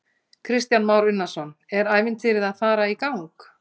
Kristján Már Unnarsson: Er ævintýrið að fara í gang?